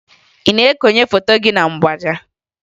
Ị na-ekonye foto gị na mgbaaja?